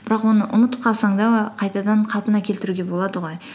бірақ оны ұмытып қалсаң да қайтадан қалпына келтіруге болады ғой